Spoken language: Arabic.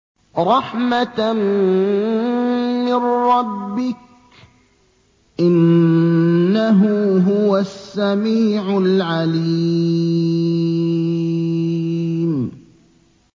رَحْمَةً مِّن رَّبِّكَ ۚ إِنَّهُ هُوَ السَّمِيعُ الْعَلِيمُ